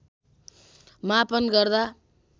मापन गर्दा